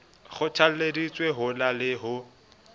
kgothalleditsweng ho na le ho